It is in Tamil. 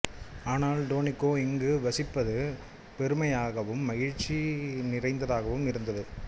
ஆனால் டோனிக்கோ இங்கு வசிப்பது பெருமையாகவும் மகிழ்ச்சி நிறைந்ததாகவும் இருந்தது